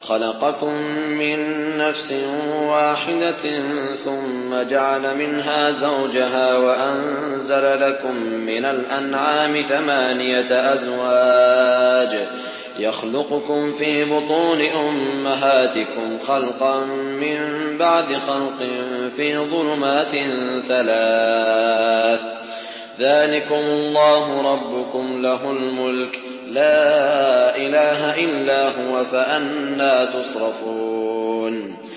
خَلَقَكُم مِّن نَّفْسٍ وَاحِدَةٍ ثُمَّ جَعَلَ مِنْهَا زَوْجَهَا وَأَنزَلَ لَكُم مِّنَ الْأَنْعَامِ ثَمَانِيَةَ أَزْوَاجٍ ۚ يَخْلُقُكُمْ فِي بُطُونِ أُمَّهَاتِكُمْ خَلْقًا مِّن بَعْدِ خَلْقٍ فِي ظُلُمَاتٍ ثَلَاثٍ ۚ ذَٰلِكُمُ اللَّهُ رَبُّكُمْ لَهُ الْمُلْكُ ۖ لَا إِلَٰهَ إِلَّا هُوَ ۖ فَأَنَّىٰ تُصْرَفُونَ